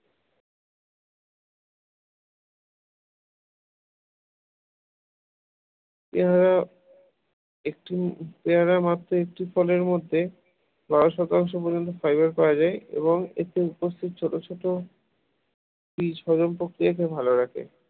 পেয়ারা একটি পেয়ারা মাত্র একটি ফলের মধ্যে বারশ তেরোশ পর্যন্ত ফাইবার পাওয়া যায় এবং এতে উপস্থিত ছোট ছোট বীজ হজম প্রক্রিয়াকে ভালো রাখে